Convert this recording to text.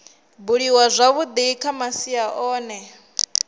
buliwaho zwavhui kha masia ohe